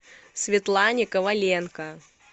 светлане коваленко